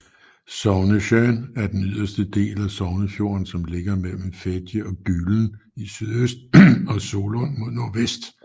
Sognesjøen er den yderste del af Sognefjorden som ligger mellem Fedje og Gulen i sydøst og Solund mod nordvest